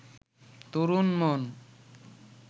তরুণ-মন